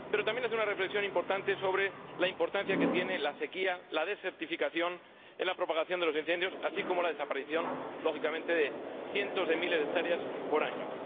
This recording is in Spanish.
Pero también hace una reflexión importante sobre la importancia que tienen la sequía y la desertización en la propagación de los incendios, así como la desaparición, lógicamente, de cientos de miles de hectáreas por año.